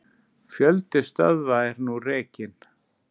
Fjöldi stöðva er nú rekinn.